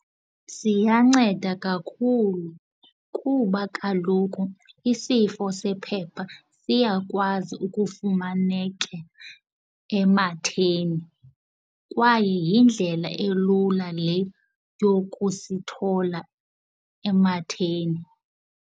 Siyanceda kakhulu kuba kaloku isifo sephepha siyakwazi ukufumaneka ematheni kwaye yindlela elula le yokusithola ematheni.